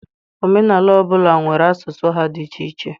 Omenala ọ bụla nwere asụsụ ha dị iche iche.